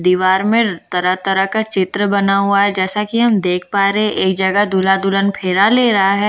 दीवार में र तरह-तरह का चित्र बना हुआ है जैसा कि हम देख पा रहे हैं एक जगह दूल्हा-दुल्हन फेरा ले रहा है।